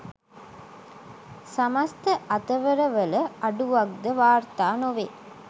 සමස්ත අතවරවල අඩුවක්ද වාර්ථා නොවේ